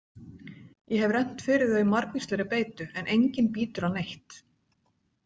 Ég hef rennt fyrir þau margvíslegri beitu en enginn bítur á neitt.